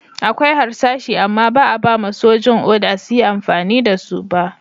Akwai harsashi amma ba'a ba'ma sojin oda su yi amfani da su ba.